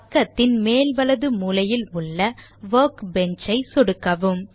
பக்கத்தின் மேல் வலது மூலையில் உள்ள Workbench ஐ சொடுக்கவும்